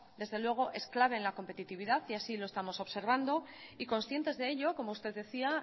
desde luego es clave en la competitividad y así lo estamos observando y conscientes de ello como usted decía